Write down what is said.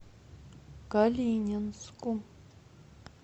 калининску